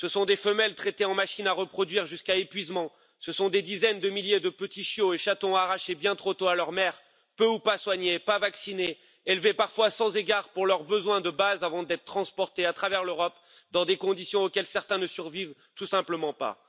Ce sont des femelles traitées en machines à reproduire jusqu'à épuisement, ce sont des dizaines de milliers de petits chiots et chatons arrachés bien trop tôt à leur mère, peu ou pas soignés, pas vaccinés, élevés parfois sans égard pour leurs besoins de base avant d'être transportés à travers l'Europe dans des conditions auxquelles certains ne survivent tout simplement pas.